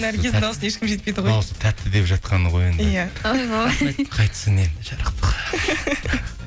наргиздің дауысына ешкім жетпейді ғой дауысы тәтті деп жатқаны ғой енді иә ойбой қайтсын енді жарықтық